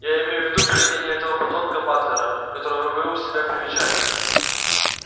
я имею в виду поведение этого подонка батлера которого вы вы у себя привечали